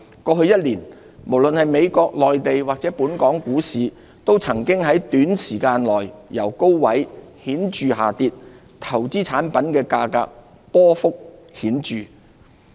過去一年，無論是美國、內地或本港股市，都曾經在短時間內由高位顯著下跌，投資產品價格亦波幅顯著。